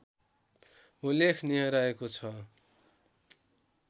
उल्लेखनीय रहेको छ